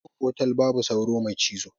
A cikin otal babu sauro mai cizo.